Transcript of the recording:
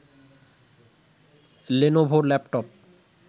Lenovo laptop